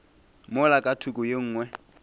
mola ka thoko ye nngwe